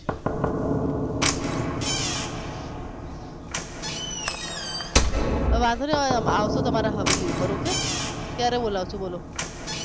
એ વાંધો નહિ અમે આવશું તમારી હવેલી પર okay ક્યારે બોલાવશો બોલો